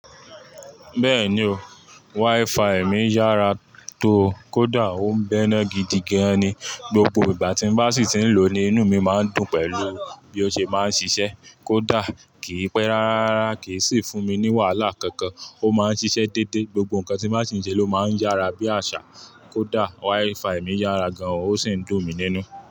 Bẹ́ẹ̀ni o, WiFi mi yára tó. Koda ò ń bẹ̀nà gidi gan ni. Gbogbo ìgbà tí n bá sì ti ń lò ó ni, inú mi má ń dùn pẹ̀lú bí ó ṣe máa ń ṣiṣẹ́. Koda kì í pé rárá, kì í sì fún mi ní wàhálà kankan. Ó má ń ṣiṣẹ́ dédé, gbogbo nǹkan tí má sì ń ṣe ló má ń yára bí àṣà. Koda WiFi mi yára gan, ó sì ń dùn mi nínú.